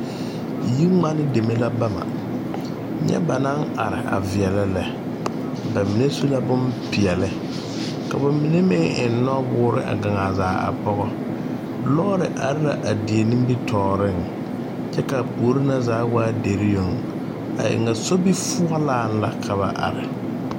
Yiŋmani deme la bama, nyɛ ba naŋ are a veɛlɛ lɛ ba mine su la boŋ peɛli ka ba mine meŋ eŋ nɔwoori a gaŋ a zaa a pɔge lɔɔre are la a die nimi tɔɔriŋ kyɛ kaa puori na zaa waa dire yoŋ a e ŋa sobi foɔlaa la ka ba are.